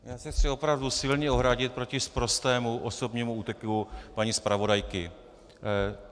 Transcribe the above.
Já se chci opravdu silně ohradit proti sprostému osobnímu útoku paní zpravodajky.